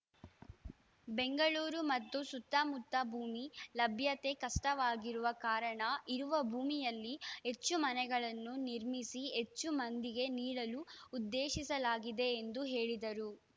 ಬೆಂಗಳೂರು ಮತ್ತು ಸುತ್ತಮುತ್ತ ಭೂಮಿ ಲಭ್ಯತೆ ಕಷ್ಟವಾಗಿರುವ ಕಾರಣ ಇರುವ ಭೂಮಿಯಲ್ಲಿ ಹೆಚ್ಚು ಮನೆಗಳನ್ನು ನಿರ್ಮಿಸಿ ಹೆಚ್ಚು ಮಂದಿಗೆ ನೀಡಲು ಉದ್ದೇಶಿಸಲಾಗಿದೆ ಎಂದು ಹೇಳಿದರು